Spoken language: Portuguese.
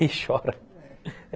E chora.